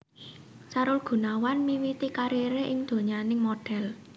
Sahrul Gunawan miwiti kariré ing donyaning modhel